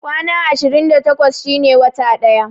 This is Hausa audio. Kwana ashirin da takwas shine wata ɗaya